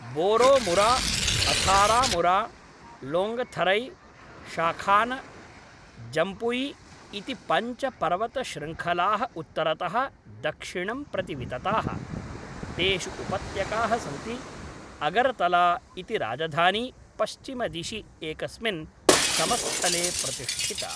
बोरोमुरा, अथारामुरा, लोङ्गथरै, शाखान, जम्पुई इति पञ्च पर्वतशृङ्खलाः उत्तरतः दक्षिणं प्रति वितताः, तेषु उपत्यकाः सन्ति; अगरतला इति राजधानी पश्चिमदिशि एकस्मिन् समस्थले प्रतिष्ठिता।